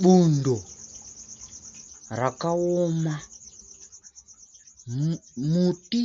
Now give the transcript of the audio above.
Bundo rakaoma, muti